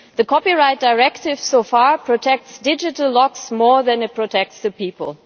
The Copyright Directive, so far, protects digital locks more than it protects the people.